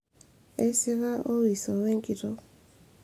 eisika Owiso we enkitok